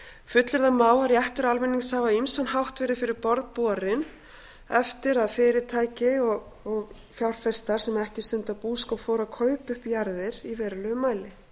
fullyrða má að réttur almennings hafi á ýmsan hátt verið fyrir borð borinn eftir að fyrirtæki og fjárfestar sem ekki stunda búskap fóru að kaupa upp jarðir í verulegum mæli